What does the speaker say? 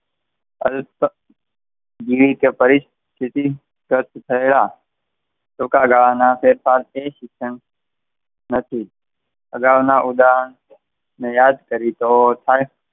અલ્પ ટૂંકાગાળાના ફેરફારથી થયેલા નથી. આગળના ઉદાહરણ ને યાદ કરીએ તો,